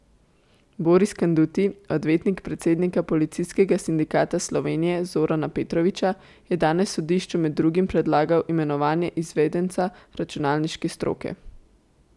Boris Kanduti, odvetnik predsednika Policijskega sindikata Slovenije Zorana Petroviča, je danes sodišču med drugim predlagal imenovanje izvedenca računalniške stroke.